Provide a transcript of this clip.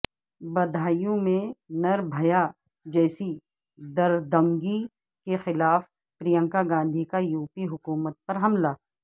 بدایوں میں نربھیا جیسی دردنگی کے خلاف پرینکا گاندھی کا یوپی حکومت پر حملہ